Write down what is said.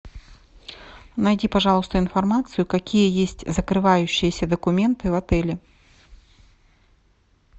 найди пожалуйста информацию какие есть закрывающиеся документы в отеле